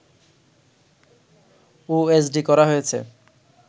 OSD করা হয়েছে